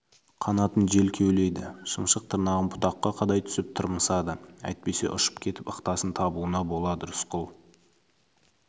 қанатын жел кеулейді шымшық тырнағын бұтаққа қадай түсіп тырмысады әйтпесе ұшып кетіп ықтасын табуына болады рысқұл